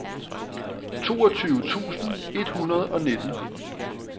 toogtyve tusind et hundrede og nitten